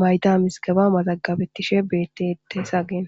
mayda miskaba mazagabettishe beettette sageen